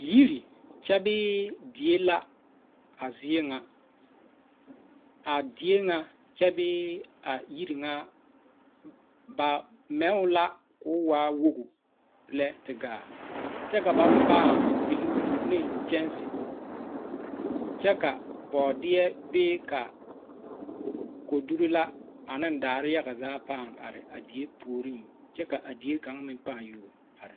Yiri kyɛ bee die la a zie ŋa a die ŋa kyɛ bee a yiri ŋa ba mɛ o la koo waa woge lɛ te gaa kyɛ ka ba paŋ piluu neŋ kyɛnse kyɛ ka bɔɔdeɛ bee ka kodurre la aneŋ daa yaga zaa paŋ are a die puoriŋ ka a die kaŋ meŋ pãã yuo are.